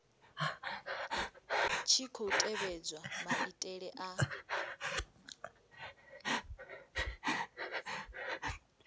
tshi khou tevhedzwa maitele a